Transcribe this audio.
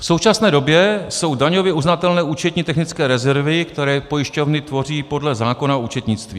V současné době jsou daňově uznatelné účetní technické rezervy, které pojišťovny tvoří podle zákona o účetnictví.